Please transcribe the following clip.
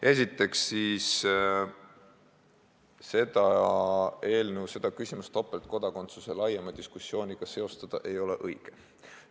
Esiteks, ei ole õige seostada seda eelnõu, seda küsimust laiema diskussiooniga topeltkodakondsuse üle.